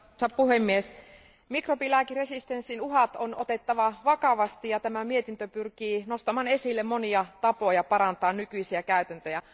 Arvoisa puhemies, mikrobilääkeresistenssin uhat on otettava vakavasti ja tämä mietintö pyrkii nostamaan esille monia tapoja parantaa nykyisiä käytäntöjä.